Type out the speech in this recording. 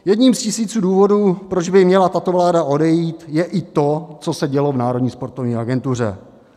Jedním z tisíců důvodů, proč by měla tato vláda odejít, je i to, co se dělo v Národní sportovní agentuře.